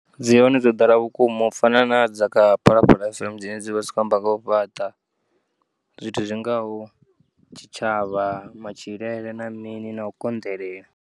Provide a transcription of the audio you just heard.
Dzi hone dzo ḓala vhukuma u fana nadza kha Phalaphala FM dzine dzivha dzi tshi kho amba nga ho fhaṱa. Zwithu zwingaho tshitshavha, matshilele na mini no konḓelela.